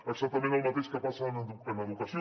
exactament el mateix que passa en educació